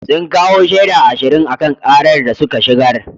Sun kawo shaida ashirin a kan karar da suka shigar.